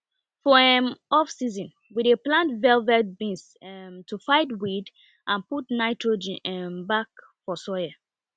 for um offseason we dey plant velvet beans um to fight weed and put nitrogen um back for soil